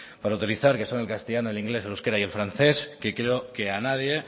para utilizar que son el castellano el inglés el euskera y el francés que creo que a nadie